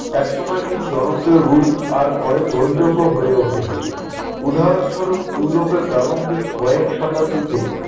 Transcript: এক সময়ের কিছু জনপ্রিয় রূপ আর পরে গ্রহণযোগ্য হয়ে ওঠেনি। উদাহরণস্বরূপ ইউরোপে প্রারম্ভিক কয়েক শতাব্দীতে